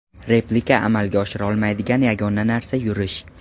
Replika amalga oshira olmaydigan yagona narsa yurish.